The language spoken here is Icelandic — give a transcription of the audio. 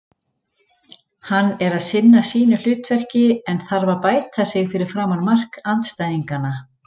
Hann er að sinna sínu hlutverki en þarf að bæta sig fyrir framan mark andstæðinganna.